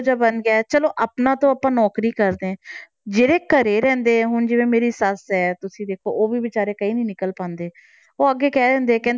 ਇਹੋ ਜਿਹਾ ਬਣ ਗਿਆ ਹੈ ਚਲੋ ਆਪਣਾ ਤਾਂ ਆਪਾਂ ਨੌਕਰੀ ਕਰਦੇ ਹਾਂ, ਜਿਹੜੇ ਘਰੇ ਰਹਿੰਦੇ ਹੈ ਹੁਣ ਜਿਵੇਂ ਮੇਰੀ ਸੱਸ ਹੈ ਤੁਸੀਂ ਦੇਖੋ ਉਹ ਵੀ ਬੇਚਾਰੇ ਕਿਤੇ ਨੀ ਨਿਕਲ ਪਾਉਂਦੇ ਉਹ ਅੱਗੇ ਕਹਿ ਦਿੰਦੇ ਹੈ